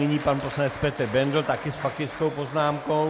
Nyní pan poslanec Petr Bendl taky s faktickou poznámkou.